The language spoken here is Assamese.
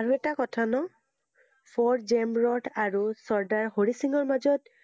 আৰু এটা কথা ন, ফৰ্ড জেমৰোড আৰু চৰ্দাৰ হৰি সিঙৰ মাজত,